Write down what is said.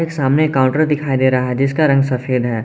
सामने काउंटर दिखाई दे रहा है जिसका रंग सफेद है।